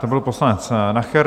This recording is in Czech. To byl poslanec Nacher.